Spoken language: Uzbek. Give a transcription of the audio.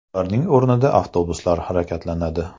Ularning o‘rnida avtobuslar harakatlanadi .